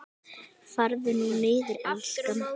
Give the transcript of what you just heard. Farðu nú niður, elskan.